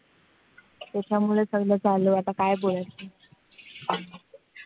त्याच्यामुळे सगळं झालंय. आता काय बोलायचं?